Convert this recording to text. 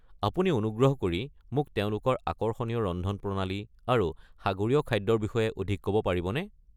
আপুনি অনুগ্ৰহ কৰি মোক তেওঁলোকৰ আকৰ্ষণীয় ৰন্ধনপ্ৰণালী আৰু সাগৰীয় খাদ্যৰ বিষয়ে অধিক ক'ব পাৰিবনে?